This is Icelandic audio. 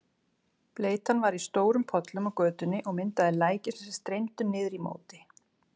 Bleytan var í stórum pollum á götunni og myndaði læki sem streymdu niður í móti.